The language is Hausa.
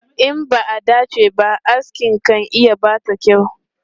In ba a dace ba, aski kan iya ɓata kyau.